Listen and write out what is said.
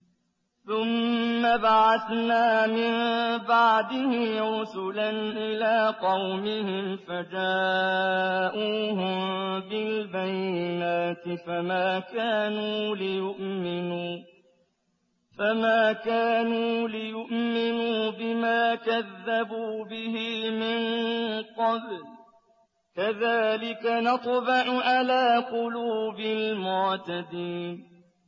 ثُمَّ بَعَثْنَا مِن بَعْدِهِ رُسُلًا إِلَىٰ قَوْمِهِمْ فَجَاءُوهُم بِالْبَيِّنَاتِ فَمَا كَانُوا لِيُؤْمِنُوا بِمَا كَذَّبُوا بِهِ مِن قَبْلُ ۚ كَذَٰلِكَ نَطْبَعُ عَلَىٰ قُلُوبِ الْمُعْتَدِينَ